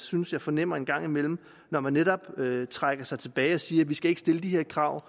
synes jeg fornemmer en gang imellem når man netop trækker sig tilbage og siger at vi ikke skal stille de her krav